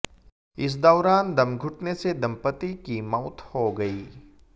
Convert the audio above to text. इस दौरान दम घुंटने से दम्पति की मौत हो गयी